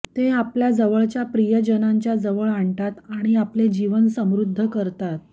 ते आपल्या जवळच्या प्रियजनांच्या जवळ आणतात आणि आपले जीवन समृद्ध करतात